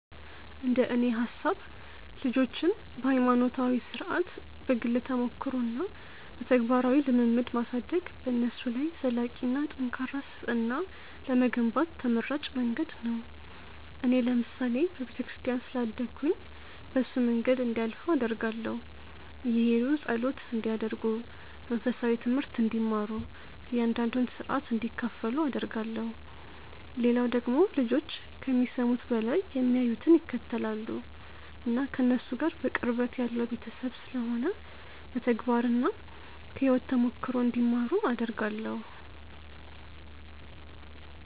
እንደኔ ሐሳብ ልጆችን በሃይማኖታዊ ሥርዓት፣ በግል ተሞክሮ እና በተግባራዊ ልምምድ ማሳደግ በነሱ ላይ ዘላቂና ጠንካራ ስብዕና ለመገንባት ተመራጭ መንገድ ነው። እኔ ለምሳሌ በቤተክርስቲያን ስላደግኩኝ በሱ መንገድ እንዲያልፉ አደርጋለሁ። እየሔዱ ጸሎት እንዲያደርጉ፣ መንፈሳዊ ትምሀርት እንዲማሩ፣ እያንዳንዱን ሥርዓት እንዲካፈሉ አደርጋለሁ። ሌላው ደግሞ ልጆች ከሚሰሙት በላይ የሚያዩትን ይከተላሉ። እና ከነሱ ጋር በቅርበት ያለው ቤተሰብ ስለሆነ በተግባርና ከሕይወት ተሞክሮ እንዲማሩ አደርጋለሁ።